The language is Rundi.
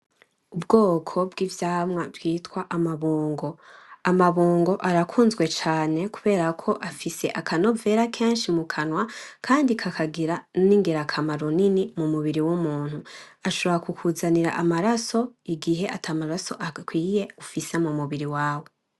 Ubwoko bw'ivyamwa twita amabungo; amabungo arakuzwe cane kubera ko afise akanovera kenshi mukanwa kandi kakanagira ingirakamaro nini mumubiri w'umuntu, ashobora ku kuzanira amaraso igihe atamaraso ufise akwiye mumubri wawe.